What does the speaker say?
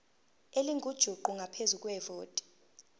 elingujuqu ngaphezu kwevoti